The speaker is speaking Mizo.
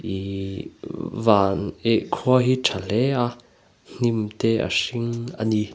ihh van ih khua hi tha hle a hnim te a hring a ni.